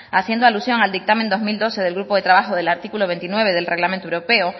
haciendo alusión al dictamen dos mil doce del grupo de trabajo del artículo veintinueve del reglamento europeo